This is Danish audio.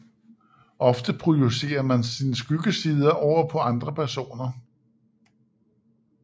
Ofte projicerer man sine skyggesider over på andre personer